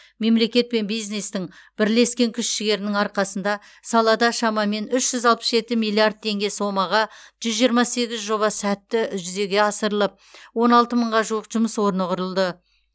мемлекет пен бизнестің бірлескен күш жігерінің арқасында салада шамамен үш жүз алпыс жеті миллиард теңге сомаға жүз жиырма сегіз жоба сәтті үзеге асырылып он алты мыңға жуық жұмыс орны құрылды